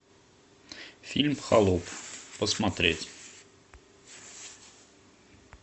фильм холоп посмотреть